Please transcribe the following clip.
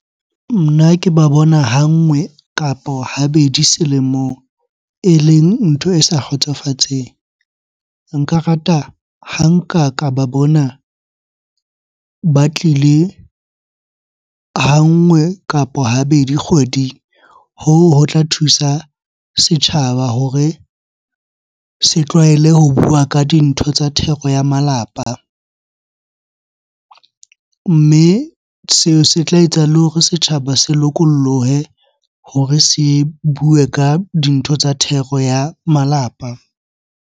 Nna ke ba bona ha nngwe kapo habedi selemo eleng ntho e sa kgotsofatseng. Nka rata ha nka ka ba bona ba tlile ha nngwe kapo habedi kgweding. Hoo ho tla thusa setjhaba hore se tlwaele ho bua ka dintho tsa thero ya malapa. Mme seo se tla etsa le hore setjhaba se lokolohe hore se bue ka dintho tsa thero ya malapa.